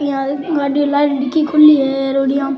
यहाँ गाडी नाल डिक्की खुली है और यहाँ --